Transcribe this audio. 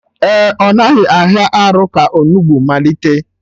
Ee, ọ naghị ahịa arụ ka onugbu malite